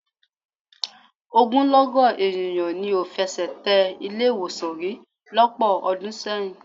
Ogunlọ́gọ̀ ènìyàn ni ò fẹsẹ̀ tẹ ilé-ìwọ̀sàn rí lọ́pọ̀ ọdún sẹ́yìn.